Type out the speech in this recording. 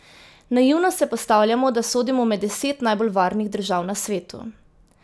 Naivno se postavljamo, da sodimo med deset najbolj varnih držav na svetu.